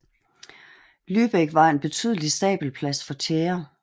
Lübeck var en betydelig stabelplads for tjære